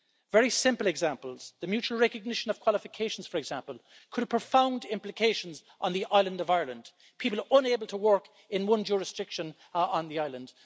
Very simple examples the mutual recognition of qualifications, for example, could have profound implications on the island of Ireland, people unable to work in one jurisdiction on the island.